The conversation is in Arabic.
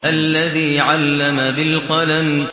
الَّذِي عَلَّمَ بِالْقَلَمِ